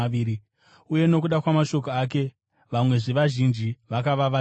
Uye nokuda kwamashoko ake vamwezve vazhinji vakava vatendi.